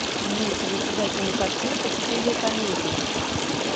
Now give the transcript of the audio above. имеется ли у тебя кинокартинка в стиле комедии